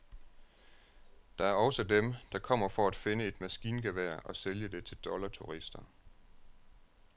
Der er også dem, der kommer for at finde et maskingevær og sælge det til dollarturister.